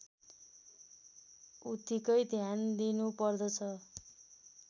उत्तिकै ध्यान दिइनुपर्दछ